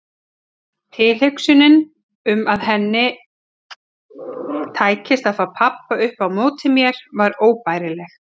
Tilhugsunin um að henni tækist að fá pabba upp á móti mér var óbærileg.